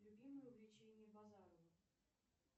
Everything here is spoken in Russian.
любимое увлечение базарова